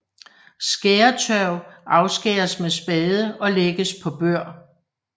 Skæretørv afskæres med spade og lægges på bør